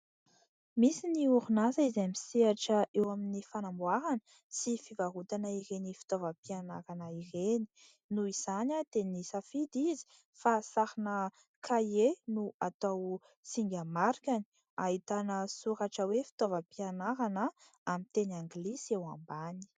Misy ny orin'asa izay misehatra eo amin'ny fanamboarana sy fivarotana ireny fitaovampianarana ireny. Noho izany dia nisafidy izy fa sarina kahie no atao singa marikany. Ahitana soratra hoe fitaovampianarana amin'ny teny Anglisy eo ambany.